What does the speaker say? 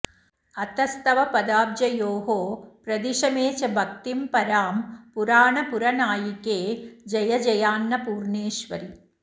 अतस्तव पदाब्जयोः प्रदिश मे च भक्तिं परां पुराणपुरनायिके जय जयान्नपूर्णेश्वरि